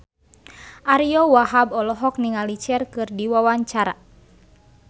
Ariyo Wahab olohok ningali Cher keur diwawancara